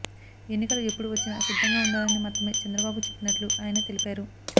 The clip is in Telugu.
ఎన్నికలు ఎప్పుడు వచ్చినా సిద్ధంగా ఉండాలని మాత్రమే చంద్రబాబు చెప్పినట్లు ఆయన తెలిపారు